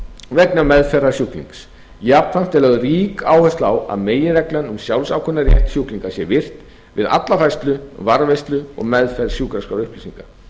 vegna meðferðar sjúklings jafnframt er lögð rík áhersla á að meginreglan um sjálfsákvörðunarrétt sjúkling sé virt við alla færslu varðveislu og meðferð sjúkraskrárupplýsinga